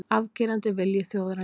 Afgerandi vilji þjóðarinnar